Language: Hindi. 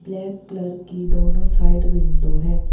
ब्लैक कलर की दोनों साइड विंडो हैं।